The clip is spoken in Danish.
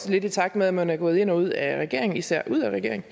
lidt i takt med at man er gået ind og ud af regering især ud af regering